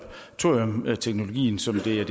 er